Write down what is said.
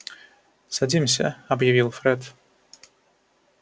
садимся объявил фред